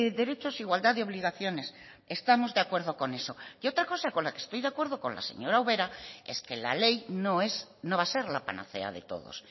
derechos igualdad de obligaciones estamos de acuerdo con eso y otra cosa con la que estoy de acuerdo con la señora ubera es que la ley no es no va a ser la panacea de todos